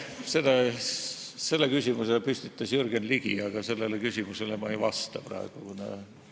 Selle küsimuse püstitas Jürgen Ligi, aga sellele küsimusele ma praegu ei vasta.